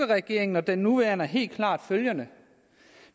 regering og den nuværende er helt klart følgende